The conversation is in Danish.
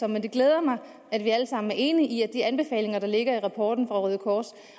men det glæder mig at vi alle sammen er enige i at de anbefalinger der ligger i rapporten fra røde kors